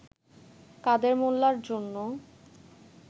কাদের মোল্লার জন্য